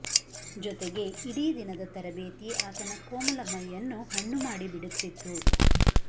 ಜೊತೆಗೆ ಇಡೀ ದಿನದ ತರಬೇತಿ ಆತನ ಕೋಮಲ ಮೈಯನ್ನು ಹಣ್ಣು ಮಾಡಿ ಬಿಡುತ್ತಿತ್ತು